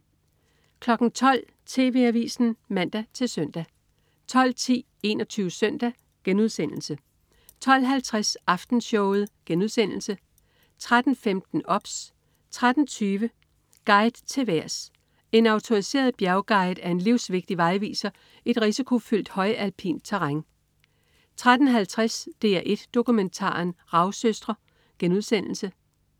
12.00 TV Avisen (man-søn) 12.10 21 Søndag* 12.50 Aftenshowet* 13.15 OBS 13.20 Guide til vejrs. En autoriseret bjergguide er en livsvigtig vejviser i et risikofyldt højalpint terræn 13.50 DR1 Dokumentaren. Ravsøstre*